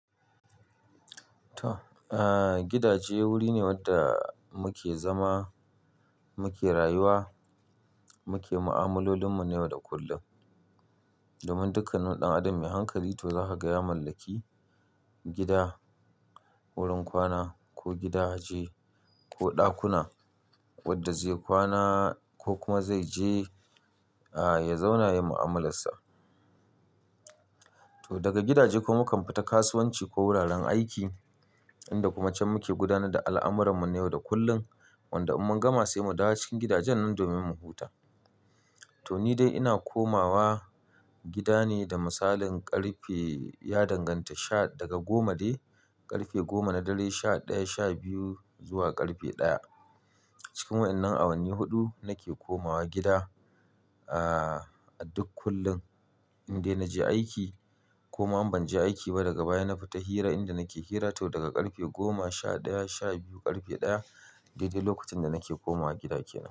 To, aa, gidaje wuri ne wanda muke zama, muke rayuwa, muke mu'amalolin mu na yau da kullum. Domin dukkanin ɗan adam mai hankali to za ka gaya mallaki gida, wurin kwana ko gidaje, ko ɗakuna wadda zai kwana ko kuma zai je ya zauna yin mu'amalassa. To daga gidaje kuma mu kan fita kasuwanci ko wuraren aiki inda kuma can muke gudanad da al'amuran mu na yau da kullum. Wanda in mun gama sai mu dawo cikin gidajen nan domin mu huta. To ni dai ina komawa gida ne da misalin ƙarfe ya danganta sha daga goma dai ƙarfe goma na dare sha ɗaya, sha biyu zuwa ƙarfe ɗaya. Cikin wa'innan a wanni huɗu nake komawa gida a duk kullum in dai na je aiki ko ma in ban je aiki ba daga baya na fita hira inda nake hira. To daga ƙarfe goma, sha ɗaya, sha biyu, ƙarfe ɗaya dai dai lokacin da nake komawa gida kenan.